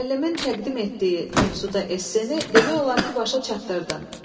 Müəllimin təqdim etdiyi mövzuda esseni demək olar ki, başa çatdırdın.